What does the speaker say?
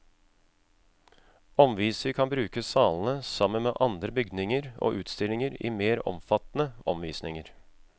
Omviser kan bruke salene sammen med andre bygninger og utstillinger i mer omfattende omvisninger.